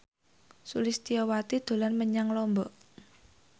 Sulistyowati dolan menyang Lombok